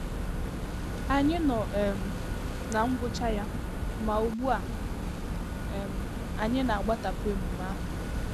Ànyị nọ um ná ngwụcha ya, ma ugbu a, um anyị na-agbatapụ emume ahụ.